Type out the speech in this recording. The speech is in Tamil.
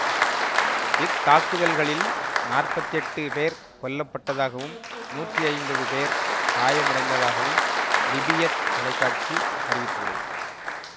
இத்தாக்குதல்களில் நாற்பத்தி எட்டு பேர் கொல்லப்பட்டதாகவும் நூற்றி ஐம்பது பேர் காயமடைந்ததாகவும் லிபியத் தொலைக்காட்சி அறிவித்துள்ளது